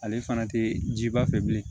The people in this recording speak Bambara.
Ale fana tɛ jiba fɛ bilen